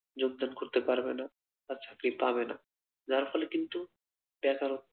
যোগদান করতে পারবেনা বা চাকরি পাবে না যার ফলে কিন্তু বেকারত্ব